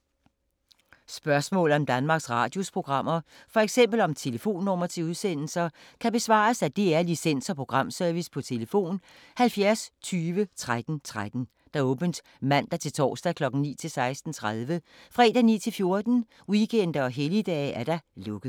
Spørgsmål om Danmarks Radios programmer, f.eks. om telefonnumre til udsendelser, kan besvares af DR Licens- og Programservice: tlf. 70 20 13 13, åbent mandag-torsdag 9.00-16.30, fredag 9.00-14.00, weekender og helligdage: lukket.